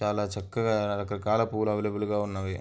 చాలా చక్కగా రక రకాల పూవులు అవైలబుల్ గా ఉన్నవి.